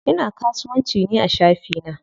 Ina kasuwanci ne a shafi na.